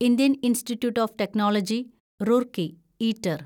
Indian Institute of Technology Roorkee (eater)